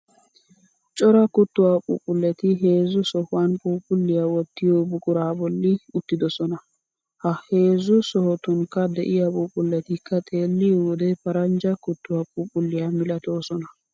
Cora kuttuwaa phuuphulleti heezzu sohuwan phuuphulliyaa wottiyo buquraa bolli uttidosona. Ha heezzu sohotunikka de'iyaa phuuphuletikka xeelliyo wode paranjja kuttuwaa phuuphuleta milatoosona.